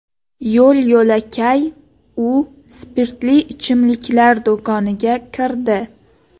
Yo‘l-yo‘lakay u spirtli ichimliklar do‘koniga kirdi.